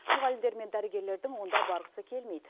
мұғалімдер мен дәрігерлердің онда барғысы келмейді